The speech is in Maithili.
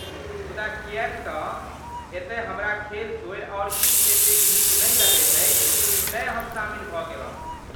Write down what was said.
मुदा किएक तँ एतय हमरा खेल छोड़ि आओर किछु एतेक नीक नहि लगैत अछि, तेँ हम शामिल भऽ गेलहुँ।